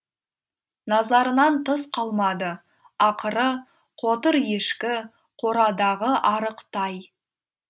назарынан тыс қалмады ақыры қотыр ешкі қорадағы арық тай